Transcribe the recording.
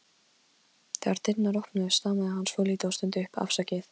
Þegar dyrnar opnuðust stamaði hann svolítið og stundi upp: Afsakið